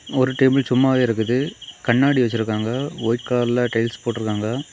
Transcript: ஒரு டேபிள் சும்மாவே இருக்குது கண்ணாடி வெச்சிருகாங்க ஒயிட் கலர்ல டைல்ஸ் போட்டுருக்காங்க.